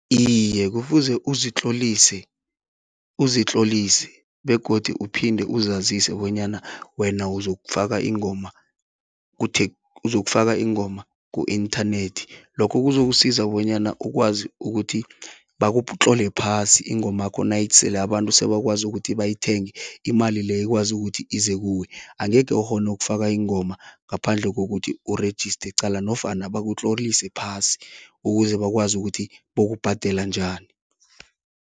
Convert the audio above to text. Iye, kufuze uzitlolise uzitlolise begodu uphinde uzazise bonyana wena uzokufaka ingoma , uzokufaka ingoma ku-internet. Lokho kuzokusiza bonyana ukwazi ukuthi bakutlole phasi ingomakho nayisele abantu sebakwazi ukuthi bayithenge, imali leyo ikwazi ukuthi ize kuwe. Angekhe ukghone ukufaka ingoma ngaphandle kokuthi erejiste qala nofana bakutlolise phasi ukuze bakwazi ukuthi bokubhadela njani.